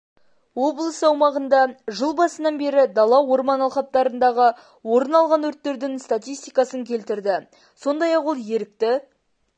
облыс аумағында жыл басынан бері дала-орман алқаптарындағы орын алған өрттердің статистикасын келтірді сондай-ақ ол ерікті